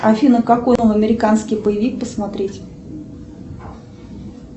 афина какой новый американский боевик посмотреть